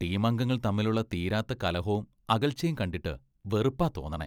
ടീമംഗങ്ങൾ തമ്മിലുള്ള തീരാത്ത കലഹോം അകൽച്ചേം കണ്ടിട്ട് വെറുപ്പാ തോന്നണേ..